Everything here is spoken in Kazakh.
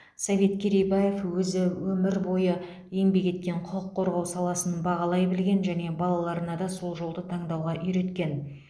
совет керейбаев өзі өмір бойы еңбек еткен құқық қорғау саласын бағалай білген және балаларына да сол жолды таңдауға үйреткен